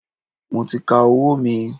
Mo ti ka owó mi.